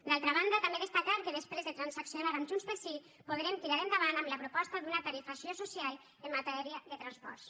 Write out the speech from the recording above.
d’altra banda també destacar que després de transaccionar amb junts pel sí podrem tirar endavant la proposta d’una tarifació social en matèria de transports